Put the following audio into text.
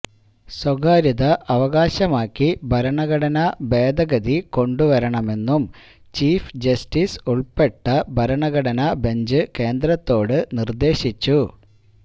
സ്വകാര്യത അവകാശമാക്കി ഭരണഘടനാ ഭേദഗതി കൊണ്ടുവരണമെന്നും ചീഫ് ജസ്റ്റീസ് ഉൾപ്പെട്ട ഭരണഘടനാ ബെഞ്ച് കേന്ദ്രത്തോട് നിർദ്ദേശിച്ചു